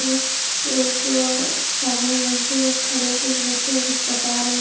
एक आदमी है जो खड़े होके बच्चों को कुछ बता रहे --